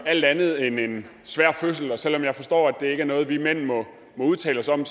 alt andet end en svær fødsel og selv om jeg forstår at det ikke er noget vi mænd må udtale os om